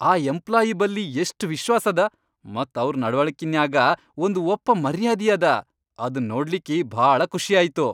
ಆ ಎಂಪ್ಲಾಯಿ ಬಲ್ಲಿ ಎಷ್ಟ್ ವಿಶ್ವಾಸದ.. ಮತ್ ಅವ್ರ್ ನಡವಳ್ಕಿನ್ಯಾಗ ಒಂದ್ ಒಪ್ಪ ಮರ್ಯಾದಿಯದ, ಅದ್ ನೋಡ್ಲಿಕ್ಕಿ ಭಾಳ ಖುಷಿಯಾಯ್ತು.